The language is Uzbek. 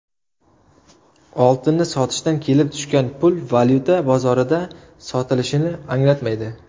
Oltinni sotishdan kelib tushgan pul valyuta bozorida sotilishini anglatmaydi.